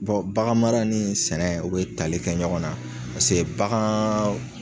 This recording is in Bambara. baganmara ni sɛnɛ o bɛ tali kɛ ɲɔgɔn na paseke bagan